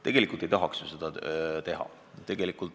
Tegelikult ei tahaks ju seda teha.